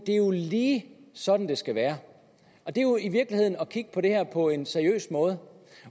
lige sådan det skal være det er jo i virkeligheden at kigge på det her på en seriøs måde